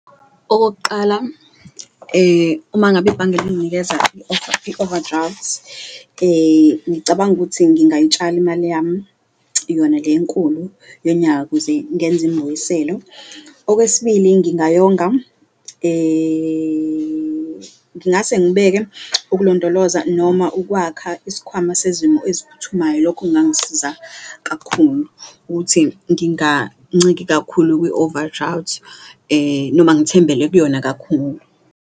Okokuqala, uma ngabe ibhange linginikeza i-overdraft ngicabanga ukuthi ngingayitshala imali yami yona enkulu yonyaka ukuze ngenze imbuyiselo. Okwesibili, ngingayonga ngingase ngibeke ukulondoloza noma ukwakha isikhwama sezimo eziphuthumayo, lokho kungangisiza kakhulu ukuthi nginganciki kakhulu kwi-overdraft noma ngithembele kuyona kakhulu.